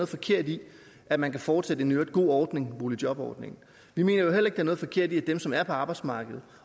forkert i at man kan fortsætte en i øvrigt god ordning boligjobordningen vi mener jo heller ikke er noget forkert i at dem som er på arbejdsmarkedet